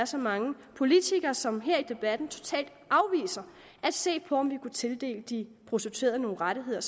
så mange politikere som her i debatten totalt afviser at se på om vi kunne tildele de prostituerede nogle rettigheder